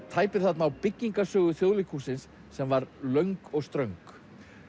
tæpir þarna á byggingarsögu Þjóðleikhússins sem var löng og ströng